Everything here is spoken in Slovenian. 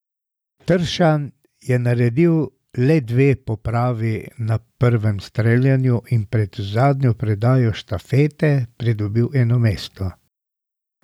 Tršan je naredil le dve popravi na prvem streljanju in pred zadnjo predajo štafeti pridobil eno mesto.